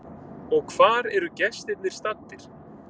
Og hvar eru gestirnir staddir?